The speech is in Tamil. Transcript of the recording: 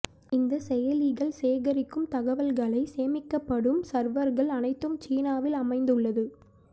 இந்த செயலிகள் சேகரிக்கும் தகவல்களைச் சேமிக்கப்படும் சர்வர்கள் அனைத்தும் சீனாவில் அமைந்துள்ளது